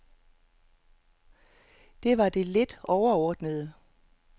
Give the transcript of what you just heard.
Det var det lidt overordnede.